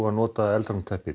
að nota eldvarnarteppi